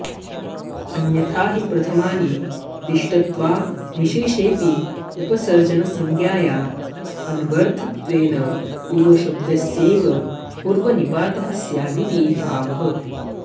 अन्यथा हि प्रथमानिदिष्टत्वाऽविशेषेऽपि उपसर्जनसंज्ञाया अन्वर्थत्वेन पूर्वशब्दस्यैव पूर्वनिपातः स्यादिति भावः